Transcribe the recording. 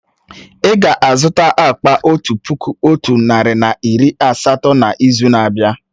Ì ga-azụta akpa otu puku otu narị na iri asatọ n'izu na-abịa?